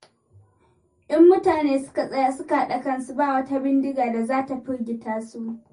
In mutane suka tsaya suka haɗa kansu ba wata bindiga da za ta firgita su.